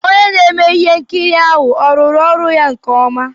Onye na-eme ihe nkiri ahụ ọ rụrụ ọrụ ya nke ọma?